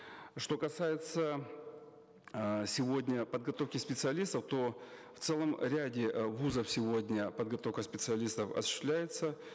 что касается э сегодня подготовки специалистов то в целом ряде э вуз ов сегодня подготовка специалистов осуществляется